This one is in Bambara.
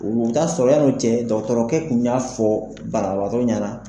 O bi taa sɔrɔ yano cɛ dɔgɔtɔrɔkɛ kun y'a fɔ banabagatɔ ɲɛna